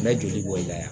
N bɛ joli bɔ i la